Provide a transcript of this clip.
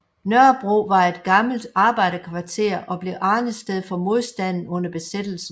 Nørrebro var et gammelt arbejderkvarter og blev arnested for modstanden under besættelsen